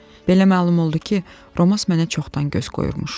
Belə məlum oldu ki, Roman mənə çoxdan göz qoyurmuş.